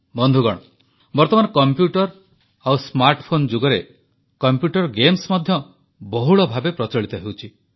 ବନ୍ଧୁଗଣ ବର୍ତ୍ତମାନ କମ୍ପ୍ୟୁଟର ଓ ସ୍ମାର୍ଟଫୋନ ଯୁଗରେ କମ୍ପ୍ୟୁଟର ଗେମ୍ସ ମଧ୍ୟ ବହୁଳ ଭାବେ ପ୍ରଚଳିତ ହେଉଛି